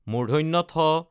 ঠ